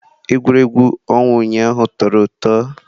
Egwuregwu ọnwa ụnyaahụ tọrọ ụtọ.